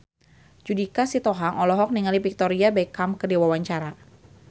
Judika Sitohang olohok ningali Victoria Beckham keur diwawancara